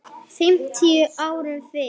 fimmtíu árum fyrr.